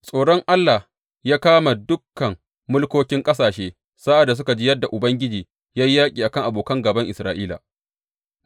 Tsoron Allah ya kama dukan mulkokin ƙasashe sa’ad da suka ji yadda Ubangiji ya yi yaƙi a kan abokan gāban Isra’ila.